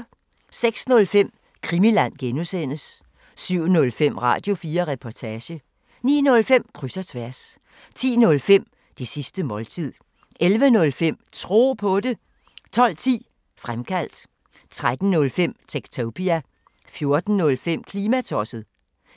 06:05: Krimiland (G) 07:05: Radio4 Reportage 09:05: Kryds og tværs 10:05: Det sidste måltid 11:05: Tro på det 12:10: Fremkaldt 13:05: Techtopia 14:05: Klimatosset